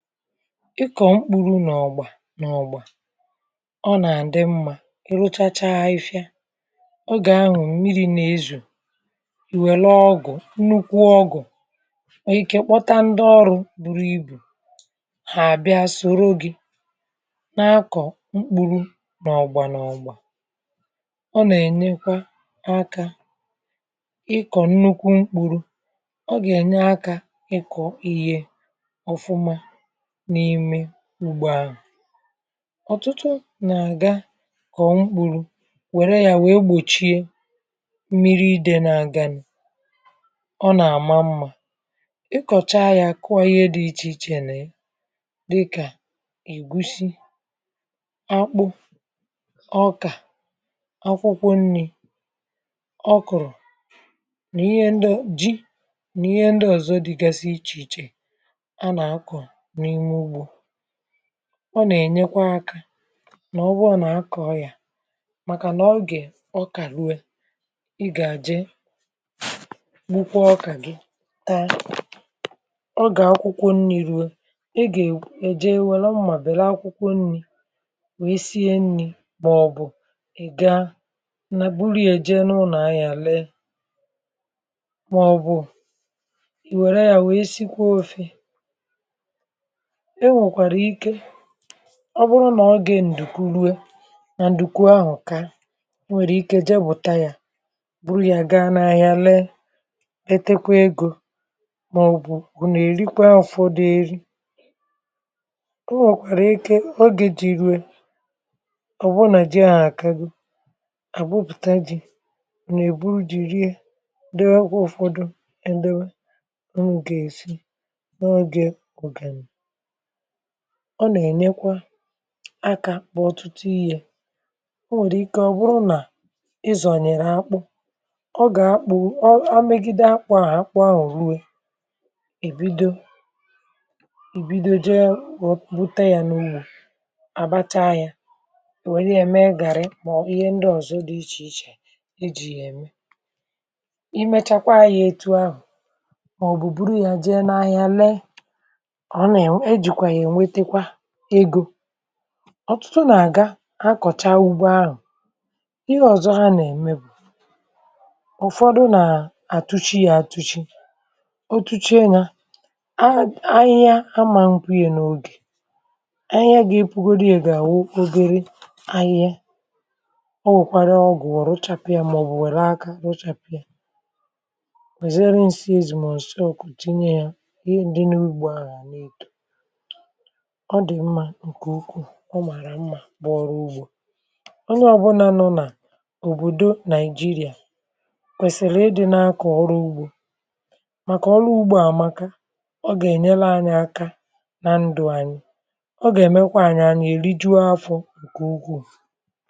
Ịkọ̀ mkpuru nà ọ̀gbà nà ọ̀gbà, ọ nà-àdị mmȧ mgbe ihe rụchachaa. Ife ya, ogè ahụ̀, mmiri̇ nà-ezù, ìwèlu ọgụ̀, nnukwu ọgụ̀ òike, kpọta ndị ọrụ buru ibù, hà àbịa soro gị na akọ̀ mkpuru nà ọ̀gbà nà ọ̀gbà. Ọ nà-ènyekwa akȧ ịkọ̀ nnukwu mkpuru; ọ gà-ènyè akȧ ịkọ̀ ihe ọ̀fụma n’ime ugbua. Ọ̀tụtụ nà-àga kọ̀ọ mkpùrù, wère ya, wèė gbòchie mmiri dị n’àga. Ọ nà-àma mmȧ, um ịkọ̀cha ya, kụọ ihe dị ichè ichè nà ya, dịkà ìgusi, akpụ, ọkà, akwụkwọ nri̇. Ọ kụ̀rụ̀ nà ihe ndị o ji, nà ihe ndị ọ̀zọ dịgasị ichè ichè. Ọ nà-ènyekwa aka nà ọ bụọ nà akọ̀ ya, màkà nà ọ gà-è... ọ kà rụe, ị gà-àje, bukwa ọkà gị taa, ọ gà-akwụkwọ nni̇.Rue, ị gà-èje, wère mmàbèli akwụkwọ nni̇, wee sie nni̇, màọbụ̀ ị̀ gaa nà buru ya èje n’ụnọ̀ ahịa, lee, màọbụ̀ e nwèkwàrà ike. Ọ bụrụ nà ogè ǹdùkwu ruo nà ǹdùkwu ahụ̀, ka o nwèrè ike jee, bùta yȧ, bụrụ yȧ, gaa n’ȧhịȧ lee, etekwe egȯ, màọbụ̀ bụ̀ nà-èrikwa ụ̀fọdụ eri.O nwèkwàrà ike, ogè jì riwe; ọ̀ bụrụ nà ji à nà-àkago, àgbụpụ̀ta ji̇, nà-èbu jì rie, dee ọkwa ụ̀fọdụ. Ndewȧ ọnwụ̇ gà-èsi n’ogè ọ̀gàni, ọ nà-ènekwa akȧ kpọ ọtụtụ ihe. O nwèrè ike, um ọ̀ bụrụ nà ịzọ̀ nyèrè akpụ̇, ọ gà-akpụ̇ omegide akpụ̇ à, akpụ ahụ̀.Rue èbido èbido, je wụ̀, bute yȧ n’umù, àbata yȧ, nwee yȧ, mee gàrị. Mà ihe ndị ọ̀zọ dị ichè ichè e jì̇ yà ème, imechakwa ayị̇ ètù ahụ̀. Mà ọ̀bụ̀, buru yȧ je n’ahịa lee, ọ̀ tụtụ nà-àga akọ̀cha ugbo ahụ̀.Ihe ọ̀zọ hà nà-ème, ụ̀fọdụ nà-àtuchi ya; àtuchi o tuchee, nà ahụ̀ ahịhịa, amȧ nkwee. N’ogè ahụ̀, ahịhịa gà-epukodu, ya gà-àwụ ogere ahịhe. O nwèkwara ọgụ̀, wọ̀ rụchapụ̀ ya, mà ọ̀ bụ̀ wère aka rụchàpụ̀ ya, wèzere nsị ezì, mà ǹse ọ kùtinye ya. Ihe ndị nà-ugbo ahụ̀ à nà-ètò ụmàrà mmȧ bụ ọrụ ugbȯ. Onye ọbụna nụ̇ nà òbòdo Naịjíríà kwèsìrì ịdị̇ nà akọ̀ ọrụ ugbȯ, um màkà ọrụ ugbȯ àmàka. Ọ gà-ènyelu anyị aka nà ndụ̇ anyị; ọ gà-èmekwa anyị, anyị èri juo afọ̇ — ǹkè ugwuù.